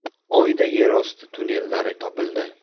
Oyda yerosti tunnellari topildi.